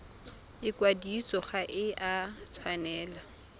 ikwadiso ga e a tshwanela